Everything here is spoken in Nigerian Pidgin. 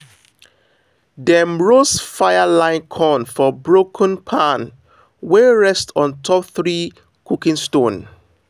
dem roast fire line corn for broken pan wey rest on top three cooking stone.